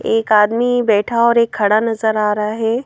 एक आदमी बैठा और एक खड़ा नजर आ रहा है।